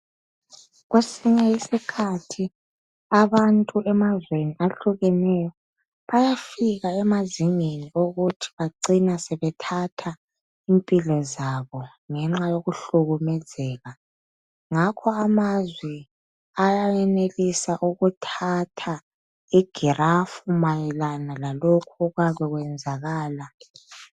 Kwesinye isikhathi abantu emazweni ahlukeneyo bayafika emazingeni okuthi bacine sebethatha impilo zabo ngenxa yokuhlukumezeka ngakho amazwe ayenelisa ukuthatha igirafu mayelana lalokhu okuyabe kuyenzakala.